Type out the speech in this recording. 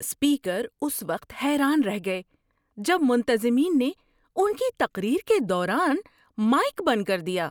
Speaker اس وقت حیران رہ گئے جب منتظمین نے ان کی تقریر کے دوران مائیک بند کر دیا۔